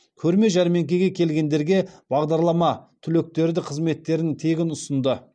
көрме жәрмеңкеге келгендерге бағдарлама түлектері де қызметтерін тегін ұсынды